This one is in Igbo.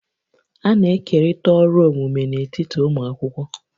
A na-ekerịta ọrụ omume n'etiti ụmụ akwụkwọ